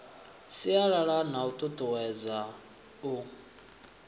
sialala na u tutuwedza u